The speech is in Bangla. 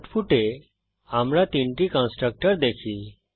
আউটপুটে আমরা তিনটি কন্সট্রকটর দেখি